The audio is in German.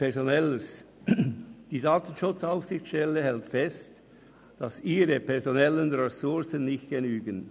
Personelles: Die DSA hält fest, dass ihre personellen Ressourcen nicht genügen.